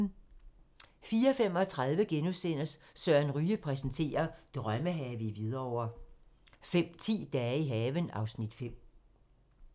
04:35: Søren Ryge præsenterer: Drømmehave i Hvidovre * 05:10: Dage i haven (Afs. 5)